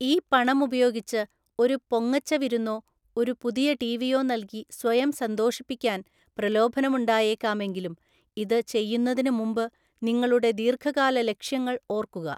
ഈ പണം ഉപയോഗിച്ച് ഒരു പൊങ്ങച്ചവിരുന്നോ ഒരു പുതിയ ടിവിയോ നല്‍കി സ്വയം സന്തോഷിപ്പിക്കാന്‍ പ്രലോഭനമുണ്ടായേക്കാമെങ്കിലും ഇത് ചെയ്യുന്നതിന് മുമ്പ് നിങ്ങളുടെ ദീർഘകാല ലക്ഷ്യങ്ങൾ ഓർക്കുക.